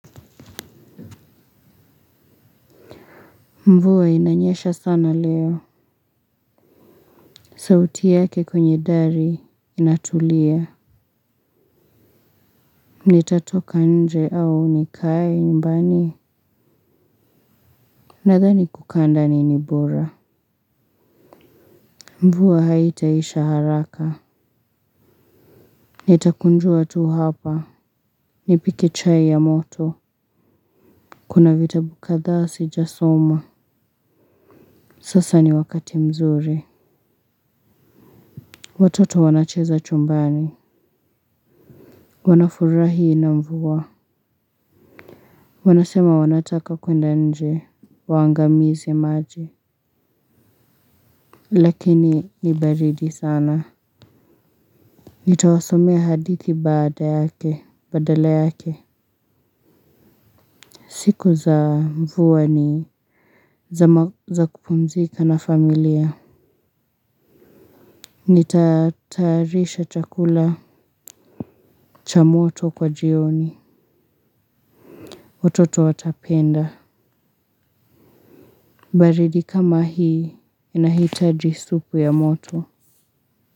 Mvuwa inanyesha sana leo. Sauti yake kwenye dari inatulia. Nitatoka nje au nikai nyumbani. Nadhani kukanda ni nibora. Mvuwa haitaisha haraka. Nitakunjua tu hapa nipike chai ya moto. Kuna vitabu kada si jasoma. Sasa ni wakati mzuri watoto wanacheza chumbani wanafurahi na mvuwa. Wanasema wanataka kwenda nje. Waangamizi maji. Lakini ni baridi sana. Nitawasomea hadithi baada yake. Badala yake siku za mvua ni za kupumzika na familia nitatayarisha chakula cha moto kwa jioni watoto watapenda. Baridi kama hii inahitaji supu ya moto.